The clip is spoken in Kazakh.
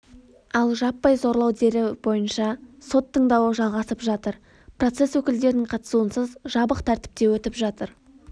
ал жаппай зорлау дереі бойынша сот тыңдауы жалғасып жатыр процесс өкілдерінің қатысуынсыз жабық тәртіпте өтіп жатыр